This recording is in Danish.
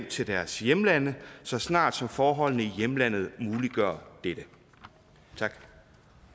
til deres hjemlande så snart forholdene i hjemlandet muliggør dette